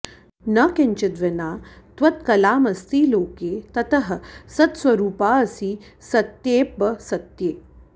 न किञ्चिद् विना त्वत्कलामस्ति लोके ततः सत्स्वरूपाऽसि सत्येऽप्यसत्ये